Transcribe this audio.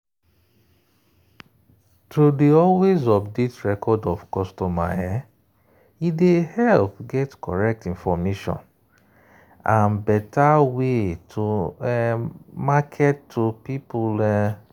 to dey always update record of customer e dey help get correct information and better way to market to people.